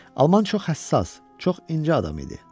Alman çox həssas, çox incə adam idi.